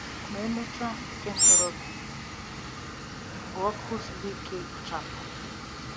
Ma echiche nke ntorobịa bụ ọkụ siri ike ikpochapụ.